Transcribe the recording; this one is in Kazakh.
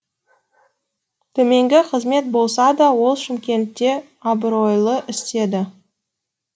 төменгі қызмет болса да ол шымкентте абыройлы істеді